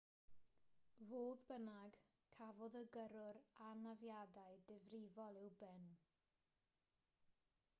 fodd bynnag cafodd y gyrrwr anafiadau difrifol i'w ben